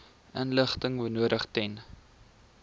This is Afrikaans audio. inligting benodig ten